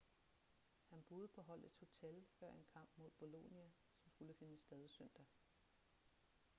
han boede på holdets hotel før en kamp mod bolonia som skulle finde sted søndag